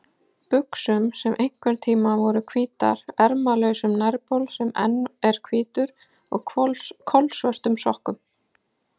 buxum sem einhverntíma voru hvítar, ermalausum nærbol sem enn er hvítur og kolsvörtum sokkum.